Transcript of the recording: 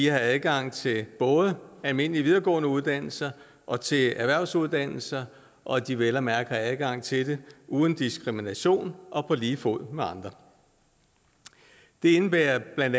har adgang til både almindelige videregående uddannelser og til erhvervsuddannelser og at de vel og mærke har adgang til det uden diskrimination og på lige fod med andre det indebærer bla